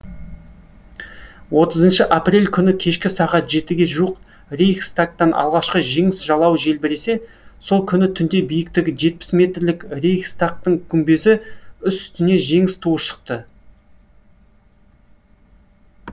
отызыны апрель күні кешкі сағат жетіге жуық рейхстагтан алғашқы жеңіс жалауы желбіресе сол күні түнде биіктігі жетпіс метрлік рейхстагтың күмбезі үстіне жеңіс туы шықты